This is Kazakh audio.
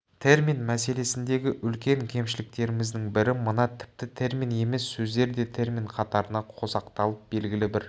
термин мәселесіндегі үлкен кемшіліктеріміздің бірі мына тіпті термин емес сөздер де термин қатарына қосақталып белгілі бір